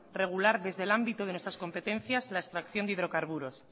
regular desde el ámbito de nuestras competencias en la extracción de hidrocarburos